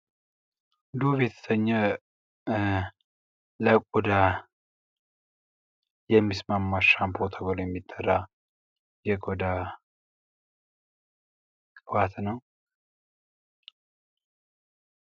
ዶቭ የተሰኘ ለቆዳ ተስማሚ የሆነ ሻምፖ ተብሎ የሚጠራ የቆዳ ቅባት ነው።